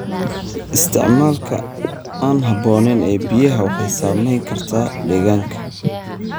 Isticmaalka aan habooneyn ee biyaha waxay saameyn kartaa deegaanka.